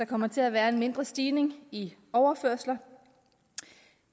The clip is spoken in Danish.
kommer til at være en mindre stigning i overførsler